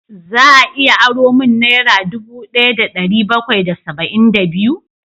Za a iya aro min naira dubu daya da dari bakwai da saba'in da biyu?